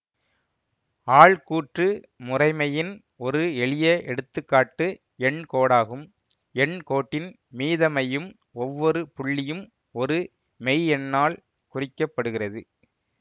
ஆள்கூற்று முறைமையின் ஒரு எளிய எடுத்து காட்டு எண் கோடாகும் எண் கோட்டின் மீதமையும் ஒவ்வொரு புள்ளியும் ஒரு மெய்யெண்ணாள் குறிக்கப்படுகிறது